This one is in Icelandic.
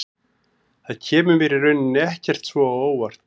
Það kemur mér í rauninni ekkert svo á óvart.